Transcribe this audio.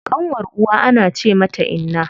Ƙanwar uwa ana ce mata inna.